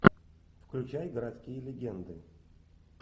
включай городские легенды